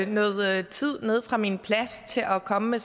noget tid nede fra min plads til at komme med